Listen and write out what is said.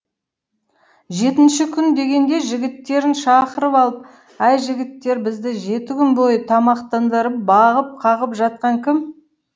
жетінші күн дегенде жігіттерін шақырып алып әй жігіттер бізді жеті күн бойы тамақтандырып бағып қағып жатқан кім